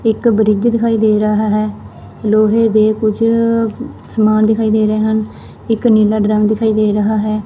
ਇੱਕ ਬ੍ਰਿਜ ਦਿਖਾਈ ਦੇ ਰਹਾ ਹੈ ਲੋਹੇ ਦੇ ਕੁਝ ਸਮਾਨ ਦਿਖਾਈ ਦੇ ਰਹੇ ਹਨ ਇੱਕ ਨੀਲਾ ਡ੍ਰਮ ਦਿਖਾਈ ਦੇ ਰਹਾ ਹੈ।